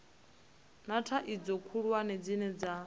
na thaidzo khulwane dzine dza